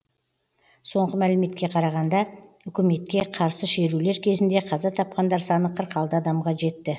соңғы мәліметке қарағанда үкіметке қарсы шерулер кезінде қаза тапқандар саны қырық алты адамға жетті